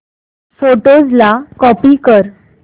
photos ला copy कर